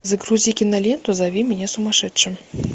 загрузи киноленту зови меня сумасшедшим